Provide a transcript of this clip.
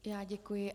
Já děkuji.